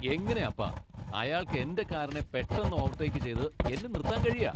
എങ്ങനെപ്പാ അയാൾക്ക് എന്റെ കാറിനെ പെട്ടെന്ന് ഓവർടേക്ക് ചെയ്ത് എന്നെ നിർത്താൻ കഴിയാ?